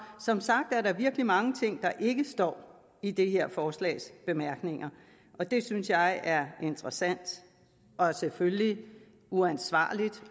som sagt er der virkelig mange ting der ikke står i det her forslags bemærkninger og det synes jeg er interessant og selvfølgelig uansvarligt